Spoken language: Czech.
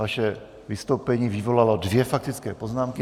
Vaše vystoupení vyvolalo dvě faktické poznámky.